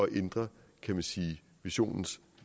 ændre kan man sige missionens